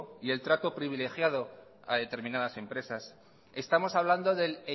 y el trato privilegiado a determinadas empresas estamos hablando del